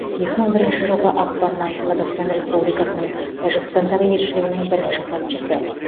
екі мың бірінші жылғы ақпаннан қазақстан республикасының тәжікстандағы елшілігінің бірінші хатшысы